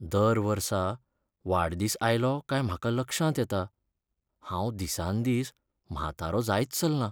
दर वर्सा वाडदीस आयलो काय म्हाका लक्षांत येता, हांव दिसान दीस म्हातारो जायत चल्लां.